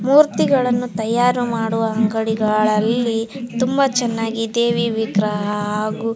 ಮೂರ್ತಿ ಗಳನ್ನೂ ತಯಾರು ಮಾಡುವ ಅಂಗಡಿಗಳಲ್ಲಿ ತುಂಬ ಚೆನ್ನಾಗಿ ದೇವಿ ವಿಗ್ರಹ ಹಾಗು --